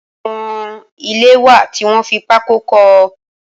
Awọn ilé wá tiwọn fi pàkó kọ